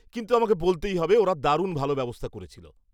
কিন্তু, আমাকে বলতেই হবে, ওরা দারুণ ভালো ব্যবস্থা করেছিল।